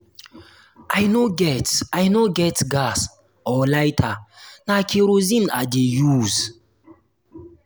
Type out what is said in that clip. i no get i no get gas or lighter na kerosene i dey use